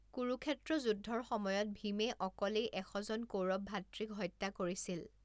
কুৰুক্ষেত্ৰ যুদ্ধৰ সময়ত ভীমে অকলেই এশজন কৌৰৱ ভাতৃক হত্যা কৰিছিল।